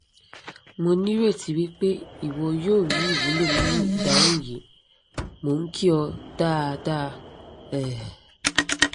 mo nireti wipe iwo yoo ri iwulo ninu idahun yi! mo n ki o daada um dr